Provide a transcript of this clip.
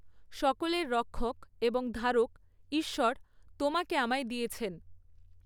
সকলের রক্ষক এবং ধারক, ঈশ্বর, তোমাকে আমায় দিয়েছেন।